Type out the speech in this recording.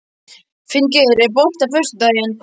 Finngeir, er bolti á föstudaginn?